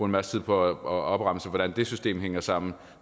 masse tid på at opremse hvordan det system hænger sammen